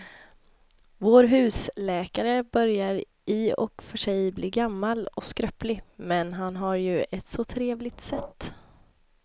Vår husläkare börjar i och för sig bli gammal och skröplig, men han har ju ett sådant trevligt sätt!